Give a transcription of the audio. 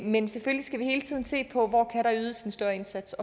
men selvfølgelig skal vi hele tiden se på hvor kan der ydes en større indsats